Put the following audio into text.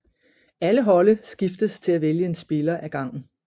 Alle holde skiftes til at vælge en spiller af gangen